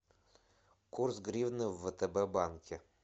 курс гривны в втб банке